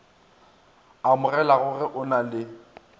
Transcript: amogelago ge o na le